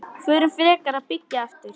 Förum frekar að byggja aftur.